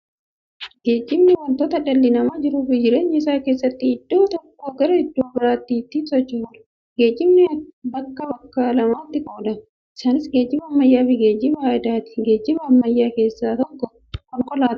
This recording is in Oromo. Geejibni wanta dhalli namaa jiruuf jireenya isaa keessatti iddoo tokkoo garaa iddoo biraatti ittiin socho'uudha. Geejibni bakka bakka lamatti qoodama. Isaanis, geejiba ammayyaafi geejiba aadaati. Geejiba ammayyaa keessaa tokko konkolaatadha.